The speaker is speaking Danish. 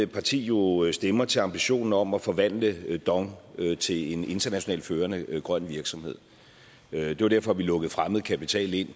parti jo stemmer til ambitionen om at forvandle dong til en international førende grøn virksomhed det var derfor vi lukkede fremmed kapital ind